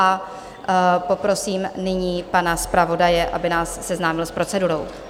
A poprosím nyní pana zpravodaje, aby nás seznámil s procedurou.